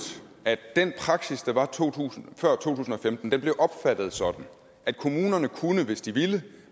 at den praksis der var før to tusind og femten blev opfattet sådan at kommunerne kunne hvis de ville